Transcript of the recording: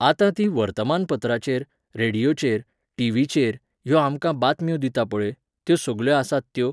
आतां ती वर्तमानपत्राचेर, रेडियोचेर, टिव्हीचेर ह्यो आमकां बातम्यो दिता पळय, त्यो सगल्यो आसात त्यो